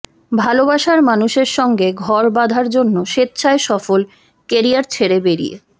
ভালবাসার মানুষের সঙ্গে ঘর বাঁধার জন্য স্বেচ্ছায় সফল কেরিয়ার ছেড়ে বেরিয়ে